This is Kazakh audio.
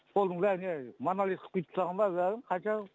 полдың бәрін не монолит қып құйып тастаған ба бәрін қанша